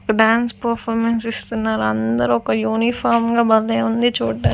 dance performance ఇస్తున్నారు అందరూ ఒక యూనిఫామ్ గా భలే ఉంది చూడ్డా--